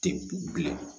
Tɛ bilen